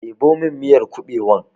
Ɗebo min miyar kuɓewan!